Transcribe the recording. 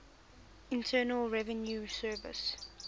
internal revenue service